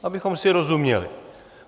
Abychom si rozuměli.